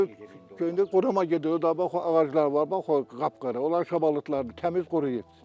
İndi qoruma gedir, o bax ağacları var bax o qapqara, onlar şabalıdlar təmiz quruyur.